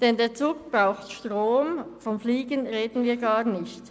Denn der Zug braucht Strom, und vom Fliegen reden wir schon gar nicht.